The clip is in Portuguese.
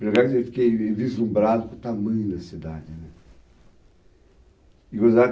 Pelo menos eu fiquei vislumbrado com o tamanho da cidade, né?